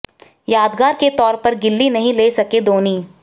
यादगार के तौर पर गिल्ली नहीं ले सके धोनी